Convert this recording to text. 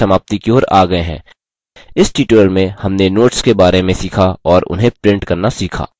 इस tutorial में हमने notes के बारे में सीखा और उन्हें print करना सीखा